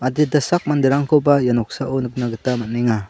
dita sak manderangkoba ia noksao nikna gita man·enga.